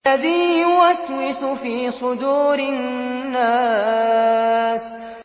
الَّذِي يُوَسْوِسُ فِي صُدُورِ النَّاسِ